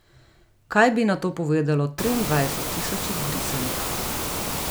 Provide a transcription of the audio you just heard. Kaj bi na to povedalo triindvajset tisoč izbrisanih?